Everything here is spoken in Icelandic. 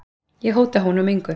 Ég hóta honum engu.